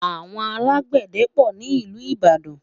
àwọn alágbède pò nílu ìbàdàn